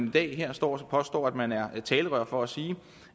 i dag står og påstår at man er talerør for at sige